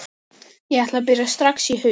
Ég ætla að byrja strax í haust.